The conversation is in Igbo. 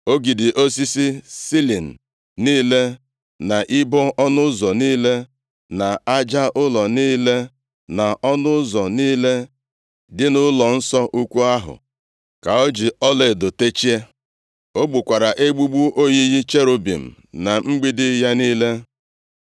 Ogidi osisi silin niile, na ibo ọnụ ụzọ niile, na aja ụlọ niile, na ọnụ ụzọ niile dị nʼụlọnsọ ukwu ahụ ka o ji ọlaedo techie. Ọ gbukwara egbugbu oyiyi cherubim na mgbidi ya niile.